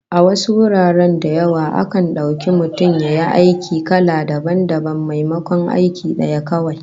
A wasu guraren da yawa, akan dauki mutum ya yi ayyuka kala dabam dabam maimakon aiki daya kawai